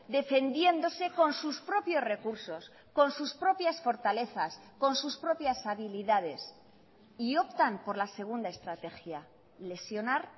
defendiéndose con sus propios recursos con sus propias fortalezas con sus propias habilidades y optan por la segunda estrategia lesionar